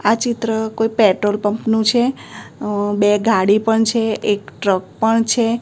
આ ચિત્ર કોઈ પેટ્રોલપંપ નું છે બે ગાડી પણ છે એક ટ્રક પણ છે.